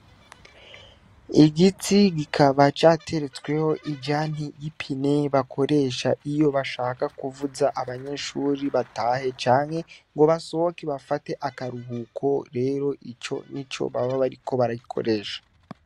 Igiti kikaba cateretsweho ijanti y’ipine bakoresha iyo bashaka kuvuza abanyeshure batahe canke ngo basohoke bafate akaruhuko rero ico Nico baba bariko barayikoresha.